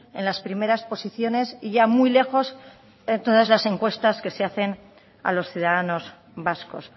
en las primeras posiciones y ya muy lejos en todas las encuestas que se hacen a los ciudadanos vascos